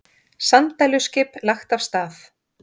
Sanddæluskip lagt af stað